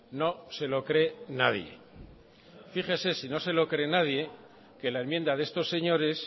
no se lo cree nadie fíjese si no se lo cree nadie que la enmienda de estos señores